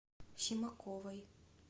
симаковой